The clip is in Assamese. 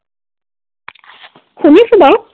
শুনিছো বাৰু।